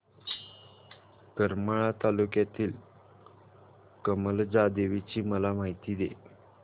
करमाळा तालुक्यातील कमलजा देवीची मला माहिती दे